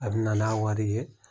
A bɛ na n'a wari ye